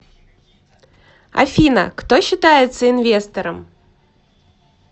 афина кто считается инвестором